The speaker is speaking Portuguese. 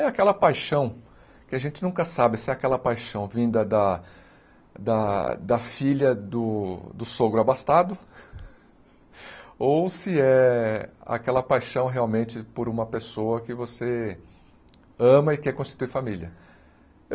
Aí aquela paixão, que a gente nunca sabe se é aquela paixão vinda da da da filha do sogro abastado, ou se é aquela paixão realmente por uma pessoa que você ama e quer constituir família.